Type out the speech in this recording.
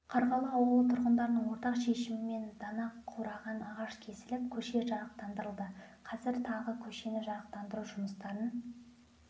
қарғалы ауылы тұрғындарының ортақ шешімімен дана қураған ағаш кесіліп көше жарықтандырылды қазір тағы көшені жарықтандыру жұмыстарын